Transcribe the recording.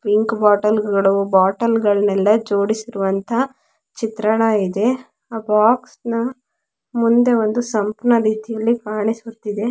Pink ಬೊಟ್ಟಲ್ಗಳು ಬೊಟ್ಟಲ್ಗಳನೆಲ್ಲ ಜೋಡಿಸಿರುವಂತಹ ಚಿತ್ರಣ ಇದೆ ಆ ಬಾಕ್ಸ್ನಾ ಮುಂದೆ ಒಂದು ರೀತಿಯಲ್ಲಿ ಕಾಣಿಸುತ್ತಿದೆ.